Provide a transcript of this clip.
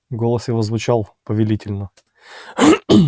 голос его звучал повелительно